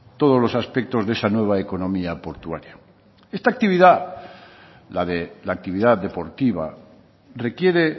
todos los aspectos de esa nueva economía portuaria esta actividad la de la actividad deportiva requiere